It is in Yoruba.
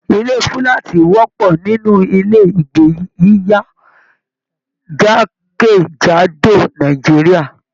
Ilé fúlàátí wọpọ nínú ilé ìgbé yiyá jakejado Nàìjíríà.